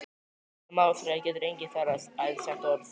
Með málþræði getur enginn ferðast- aðeins sent orð.